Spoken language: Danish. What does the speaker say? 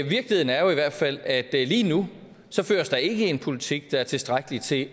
virkeligheden er jo i hvert fald at lige nu føres der ikke en politik der er tilstrækkelig til